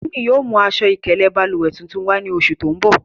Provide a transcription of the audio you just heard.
Timi yóò mu aṣọ-ikele bálúwẹ̀ tuntun wà ni oṣù tó ǹ bọ̀.